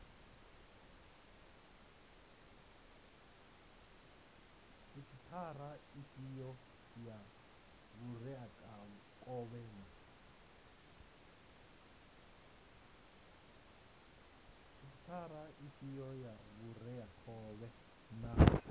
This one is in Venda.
sekhithara ifhio ya vhureakhovhe na